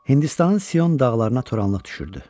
Hindistanın Sion dağlarına toranlıq düşürdü.